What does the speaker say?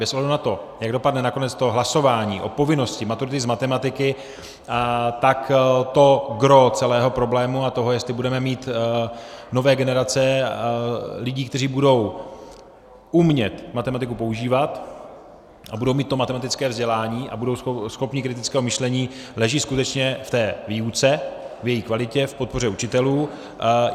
Bez ohledu na to, jak dopadne nakonec to hlasování o povinnosti maturity z matematiky, tak to gros celého problému a toho, jestli budeme mít nové generace lidí, kteří budou umět matematiku používat a budou mít to matematické vzdělání a budou schopni kritického myšlení, leží skutečně v té výuce, v její kvalitě, v podpoře učitelů.